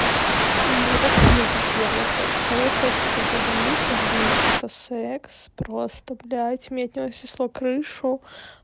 и вот так вот у меня был первый секс второй секс это журналист ну журналист это секс просто блядь у меня от него снесло крышу